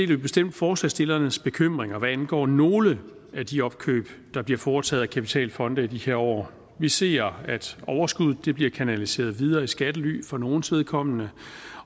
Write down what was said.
vi bestemt forslagsstillernes bekymringer hvad angår nogle af de opkøb der bliver foretaget af kapitalfonde i de her år vi ser at overskuddet bliver kanaliseret videre i skattely for nogles vedkommende